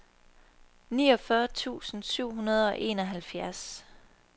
niogfyrre tusind syv hundrede og enoghalvfjerds